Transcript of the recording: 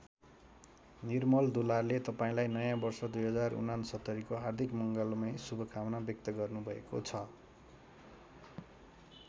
निर्मल दुलालले तपाईँलाई नयाँ वर्ष २०६९ को हार्दिक मङ्गलमय शुभकामना व्यक्त गर्नुभएको छ।